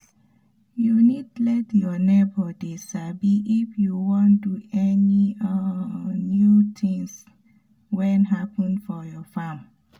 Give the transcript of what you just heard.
u need let your neigbors dey sabi if u wan do any um new um tins wen happen for your farm